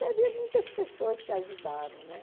Teve muitas pessoas que ajudaram, né?